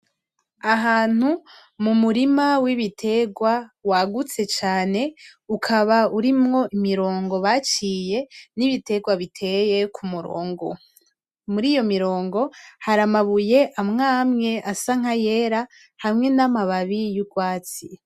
Ahantu mu murima w'ibitegwa wagutse cane ukaba urimwo imirongo baciye n'ibitegwa biteye ku murongo, muriyo hari amabuye amwe amwe asa nkayera hamwe n'amababi y'urwatsi.